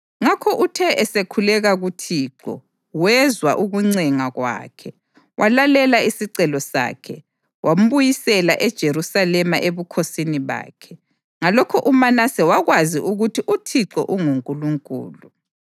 Ngakho uthe esekhuleka kuThixo, wezwa ukuncenga kwakhe walalela isicelo sakhe; wambuyisela eJerusalema ebukhosini bakhe. Ngalokho uManase wakwazi ukuthi uThixo unguNkulunkulu.